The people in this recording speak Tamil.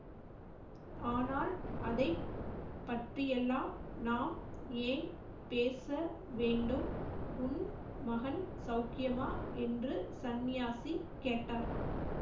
ஆனால் அதை பற்றியெல்லாம் நாம் ஏன் பேச வேண்டும் உன் மகன் சௌக்கியமா என்று சந்நியாசி கேட்டார்